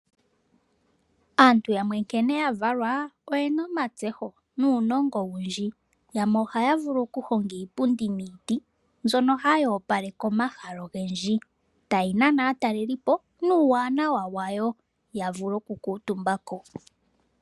Aantu yamwe nkene yavalwa oyena omatseyo nuunongo owundji. Yamwe ohaya vulu okuhonga iipundi miiti, mbyono hayi opaleke omahala ogendji. Tayinana aatalelipo nuuwanawa wayo yavule okukuutumbako.